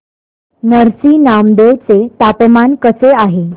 नरसी नामदेव चे तापमान कसे आहे